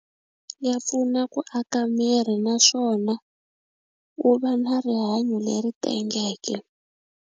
Ya pfuna ku aka miri naswona wu va na rihanyo leri tengeke.